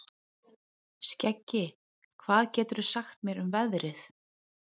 Skeggi, hvað geturðu sagt mér um veðrið?